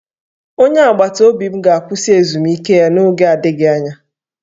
Onye agbataobi m ga-akwụsị ezumike ya n'oge adịghị anya